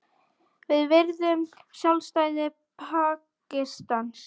Við virðum sjálfstæði Pakistans